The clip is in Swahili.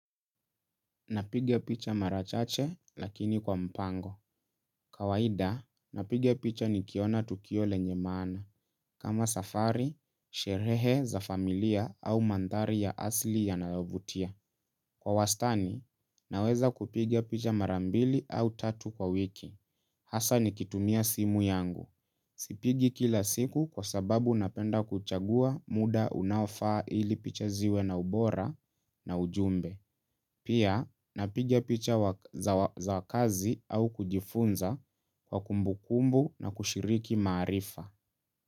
Napiga picha mara chache lakini kwa mpango. Kawaida, napiga picha nikiona tukio lenye maana. Kama safari, sherehe za familia au manthari ya asili ya nayovutia. Kwa wastani, naweza kupigia picha marambili au tatu kwa wiki. Hasa nikitumia simu yangu. Sipigi kila siku kwa sababu napenda kuchagua muda unaofaa ili picha ziwe na ubora na ujumbe. Pia napiga picha za wa kazi au kujifunza kwa kumbu kumbu na kushiriki maarifa.